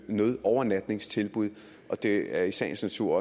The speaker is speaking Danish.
nødovernatningstilbud og det er i sagens natur